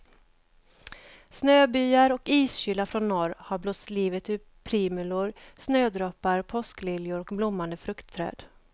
Snöbyar och iskyla från norr har blåst livet ur primulor, snödroppar, påskliljor och blommande fruktträd.